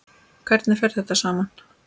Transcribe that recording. Hvernig fer þetta saman?